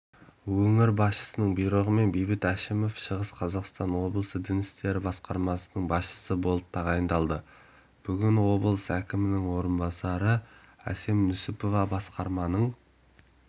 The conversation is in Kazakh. өңір басшысының бұйрығымен бейбіт әшімов шығыс қазақстан облысы дін істері басқармасының басшысы болып тағайындалды бүгін облыс әкімінің орынбасары әсем нүсіпова басқарманың